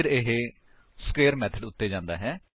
ਫਿਰ ਇਹ square method ਉੱਤੇ ਜਾਂਦਾ ਹੈ